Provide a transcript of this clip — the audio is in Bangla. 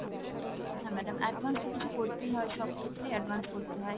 হ্যাঁ madam advance তো কিছু করতে হয় সব ক্ষেত্রে advance করতে হয়।